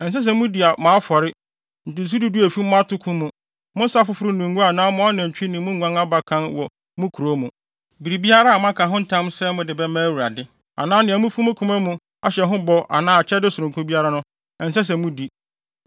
Ɛnsɛ sɛ mudi mo afɔre, ntotoso du du a efi mo atoko mu, mo nsa foforo ne ngo anaa mo anantwi ne mo nguan abakan wɔ mo kurow mu. Biribiara a moaka ho ntam sɛ mode bɛma Awurade anaa nea mufi mo koma mu ahyɛ ho bɔ anaa akyɛde sononko biara no, ɛnsɛ sɛ mudi.